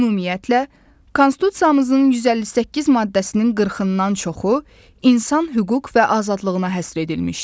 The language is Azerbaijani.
Ümumiyyətlə, Konstitusiyamızın 158 maddəsinin 40-dan çoxu insan hüquq və azadlığına həsr edilmişdir.